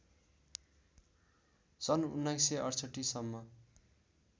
सन् १९६८ सम्म